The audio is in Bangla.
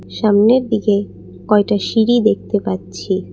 সামনের দিকে কয়টা সিঁড়ি দেখতে পাচ্ছি।